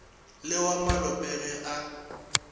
le wa malope ge a